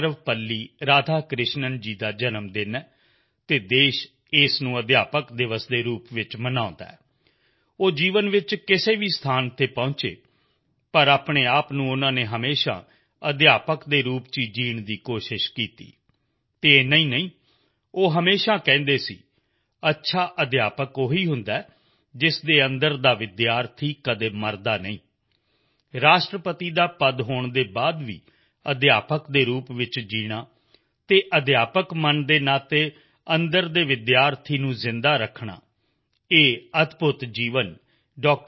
ਸਰਵਪੱਲੀ ਰਾਧਾਕ੍ਰਿਸ਼ਣਨ ਜੀ ਦਾ ਜਨਮ ਦਿਨ ਹੈ ਅਤੇ ਦੇਸ਼ ਉਸ ਨੂੰ ਅਧਿਆਪਕ ਦਿਵਸ ਦੇ ਰੂਪ ਵਿੱਚ ਮਨਾਉਂਦਾ ਹੈ ਉਹ ਜੀਵਨ ਵਿੱਚ ਕਿਸੇ ਵੀ ਸਥਾਨ ਤੇ ਪਹੁੰਚੇ ਪਰ ਆਪਣੇ ਆਪ ਨੂੰ ਉਨ੍ਹਾਂ ਨੇ ਹਮੇਸ਼ਾ ਸਿੱਖਿਅਕ ਦੇ ਰੂਪ ਵਿੱਚ ਹੀ ਜਿਊਣ ਦੀ ਕੋਸ਼ਿਸ਼ ਕੀਤੀ ਅਤੇ ਇੰਨਾ ਹੀ ਨਹੀਂ ਉਹ ਹਮੇਸ਼ਾ ਕਹਿੰਦੇ ਸਨ ਵਧੀਆ ਸਿੱਖਿਅਕ ਉਹ ਹੀ ਹੁੰਦਾ ਹੈ ਜਿਸਦੇ ਅੰਦਰ ਦਾ ਵਿਦਿਆਰਥੀ ਕਦੇ ਮਰਦਾ ਨਹੀਂ ਹੈ ਰਾਸ਼ਟਰਪਤੀ ਦਾ ਪਦ ਹੋਣ ਦੇ ਬਾਅਦ ਵੀ ਸਿੱਖਿਅਕ ਦੇ ਰੂਪ ਵਿੱਚ ਜਿਊਣਾ ਅਤੇ ਸਿੱਖਿਅਕ ਮਨ ਦੇ ਨਾਤੇ ਅੰਦਰ ਦੇ ਵਿਦਿਆਰਥੀ ਨੂੰ ਜਿਊਂਦਾ ਰੱਖਣਾ ਇਹ ਅਦਭੁੱਤ ਜੀਵਨ ਡਾ